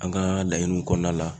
An ka laɲiniw kɔnɔna la